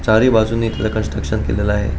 चारी बाजुनी त्याला कन्ट्रक्शन केलेल आहे.